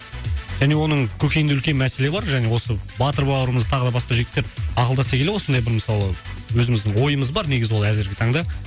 және оның көкейінде үлкен мәселе бар және осы батыр бауырымыз тағы да басқа жігіттер ақылдаса келе осындай бір мысалы өзіміздің ойымыз бар негізі ол әзірге таңда